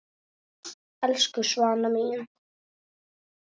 Elsku Svana mín.